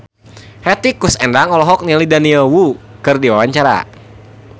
Hetty Koes Endang olohok ningali Daniel Wu keur diwawancara